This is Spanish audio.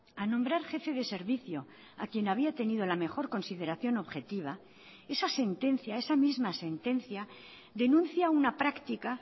a nombrar jefe de servicio a quien había tenido la mejor consideración objetiva esa sentencia esa misma sentencia denuncia una práctica